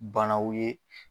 Banaw ye